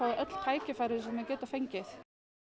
öll tækifæri sem þau geta fengið